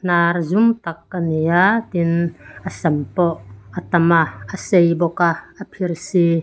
hnar zum tak a ni a tin a sam pawh a tam a a sei bawk a a phirsi.